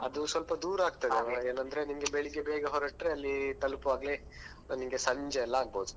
ಅದು ಸ್ವಲ್ಪ ದೂರ ಆಗ್ತದೆ ಏನಂದ್ರೆ ನಿಮಗೆ ಬೆಳಿಗ್ಗೆ ಬೇಗ ಹೊರಟ್ರೆ ಅಲ್ಲಿ ತಲುಪುವಾಗ್ಲೇ ನಿಮ್ಗೆ ಸಂಜೆ ಎಲ್ಲ ಆಗಬೋದು.